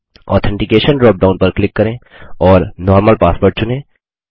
authentication dropdown पर click करें और नॉर्मल पासवर्ड चुनें